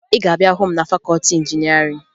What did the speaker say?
Ị ga-ahụ m na fakọọti injinịarịn